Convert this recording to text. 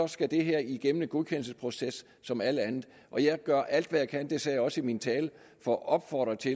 skal det her igennem en godkendelsesproces som alt andet og jeg gør alt hvad jeg kan det sagde jeg også i min tale for at opfordre til